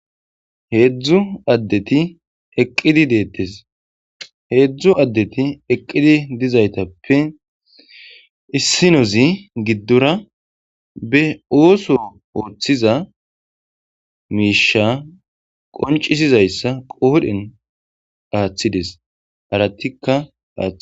Heedzdzu deteqidi deettes heedzdzu addeti eqqidi dizaytappe issinozi giddora be ooso ooththiza miisha qoncisizayssa qoodhen aaththides arattikka aa.